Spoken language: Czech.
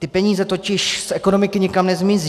Ty peníze totiž z ekonomiky nikam nezmizí.